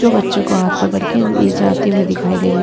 जो बच्चो को हाथ पकड़ के ले जाते हुए दिखाई दे रही।